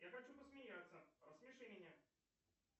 я хочу посмеяться рассмеши меня